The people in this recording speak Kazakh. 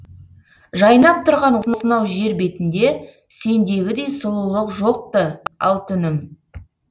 жайнап тұрған осынау жер бетінде сендегідей сұлулық жоқ ты алтыным